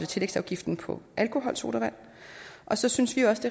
tillægsafgiften på alkoholsodavand og så synes vi også